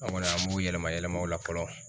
An kɔni an b'u yɛlɛma yɛlɛma o la fɔlɔ.